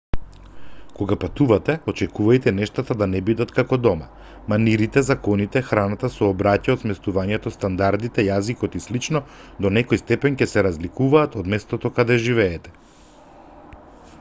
кога патувате очекувајте нештата да не бидат како дома манирите законите храната сообраќајот сместувањето стандардите јазикот и слично до некој степен ќе се разликуваат од местото каде живеете